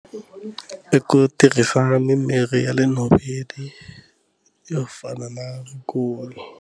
I ku tirhisa mimirhi ya le nhoveni yo fana na vukulu.